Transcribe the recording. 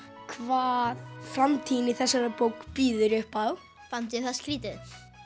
hvað framtíðin í þessari bók bíður upp á fannst það skrítið